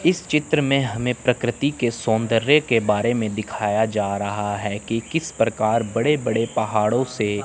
इस चित्र में हमें प्रकृति के सौंदर्य के बारे में दिखाया जा रहा हैं कि किस प्रकार बड़े बड़े पहाड़ों से--